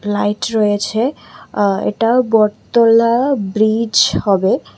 Light রয়েছে এ্যা এটা বটতলা ব্রিজ হবে।